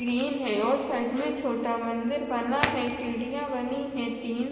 green है और side में छोटा मंदिर बना है सीढ़िया बनी है तीन--